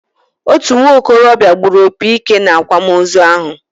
Otú nwokorobia gburu opi ike na-akwamozu ahụ